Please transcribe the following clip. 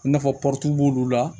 I n'a fɔ b'olu la